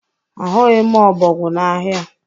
Ahụghị m ọbọgwụ n'ahịa.